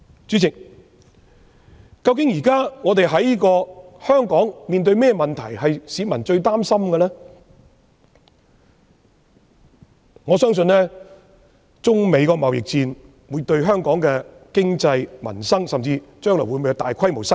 主席，現時市民最擔心的問題，是香港面對中美貿易戰，對本港經濟、民生有何影響，甚至將來會否導致大規模失業。